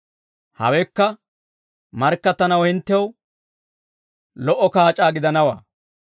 Hawekka markkattanaw hinttew lo"o kaac'aa gidanawaa.